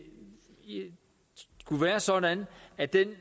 skulle være sådan at den